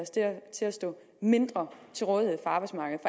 til at stå mindre til rådighed for arbejdsmarkedet